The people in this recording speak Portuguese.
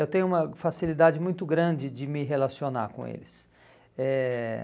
Eu tenho uma facilidade muito grande de me relacionar com eles. Eh